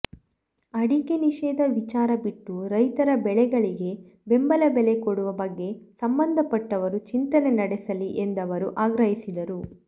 ಅಡಿಕೆ ನಿಷೇಧ ವಿಚಾರ ಬಿಟ್ಟು ರೈತರ ಬೆಳೆಗಳಿಗೆ ಬೆಂಬಲ ಬೆಲೆ ಕೊಡುವ ಬಗ್ಗೆ ಸಂಬಂಧಪಟ್ಟವರು ಚಿಂತನೆ ನಡೆಸಲಿ ಎಂದವರು ಆಗ್ರಹಿಸಿದರು